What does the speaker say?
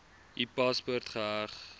u paspoort geheg